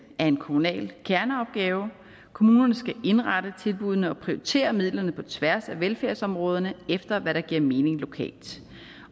en kommunal kerneopgave kommunerne skal indrette tilbuddene og prioritere midlerne på tværs af velfærdsområderne efter hvad der giver mening lokalt